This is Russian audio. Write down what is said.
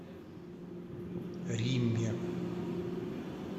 римме